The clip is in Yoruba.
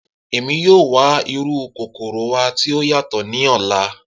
Emi yoo wa iru kokoro wa ti o yatọ ni ọla.